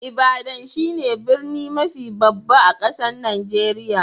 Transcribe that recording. Ibadan shine birni mafi babba a'kasan Nijeriya.